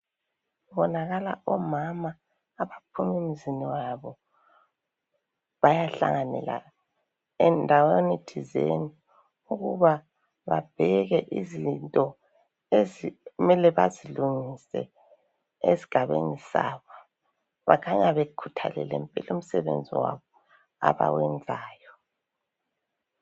Kubonakala omama abaphuma emizini yabo bayahlanganela endaweni thizeni ukuba babheke izinto ezimele bazilungise esigabeni sabo. Bakhanya bekhuthalele umsebenzi wabo abawenzayo.